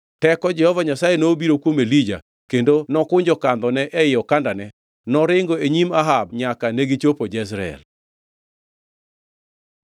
Teko Jehova Nyasaye nobiro kuom Elija kendo kokunjo kandhone ei okandane, noringo e nyim Ahab nyaka negichopo Jezreel.